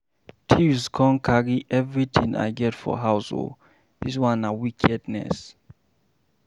Thieves come carry everything I get for house oo. This one na wickedness